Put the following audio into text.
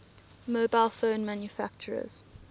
mobile phone manufacturers